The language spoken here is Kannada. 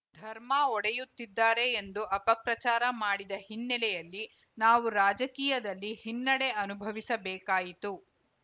ಧರ್ಮ ಒಡೆಯುತ್ತಿದ್ದಾರೆ ಎಂದು ಅಪಪ್ರಚಾರ ಮಾಡಿದ ಹಿನ್ನೆಲೆಯಲ್ಲಿ ನಾವು ರಾಜಕೀಯದಲ್ಲಿ ಹಿನ್ನಡೆ ಅನುಭವಿಸಬೇಕಾಯಿತು